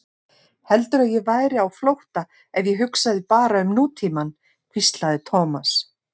Heldurðu að ég væri á flótta ef ég hugsaði bara um nútímann? hvíslaði Thomas.